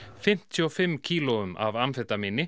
fimmtíu og fimm kílóum af amfetamíni